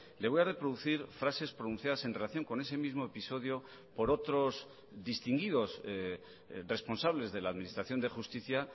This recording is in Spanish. le voy a reproducir frases pronunciadas en relación con ese mismo episodio por otros distinguidos responsables de la administración de justicia